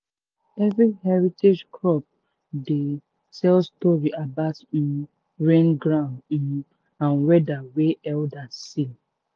every heritage crop dey tell story about um rain ground um and weather wey elders see.